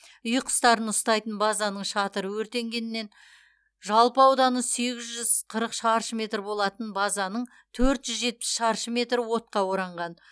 үй құстарын ұстайтын базаның шатыры өртенгеннен жалпы ауданы сегіз жүз қырық шаршы метр болатын базаның төрт жүз жетпіс шаршы метрі отқа оранған